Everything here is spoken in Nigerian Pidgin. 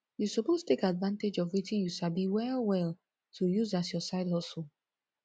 you suppose take advantage of wetin you sabi well well to use as your side hustle